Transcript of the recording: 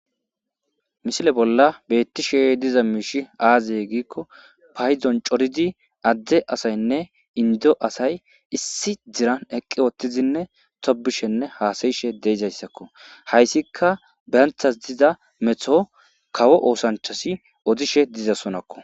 misile bolla bettishe diza miishi aazeye giikko payzon coridi adde asaynne indo asay issi diran eqqi woottizinne tobishenne haasayishe deezayssakko hayssika beyanthas diza metho kawo oosanchasi odishe dizaysonakko